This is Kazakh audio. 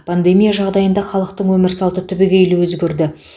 пандемия жағдайында халықтың өмір салты түбегейлі өзгерді